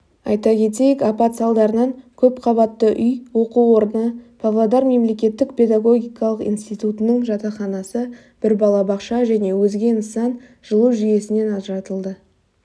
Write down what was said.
айта кетейік апат салдарынан көпқабатты үй оқу орны павлодар мемлекеттік педагогикалық институтының жатақханасы бір балабақша және өзге нысан жылу жүйесінен ажыратылды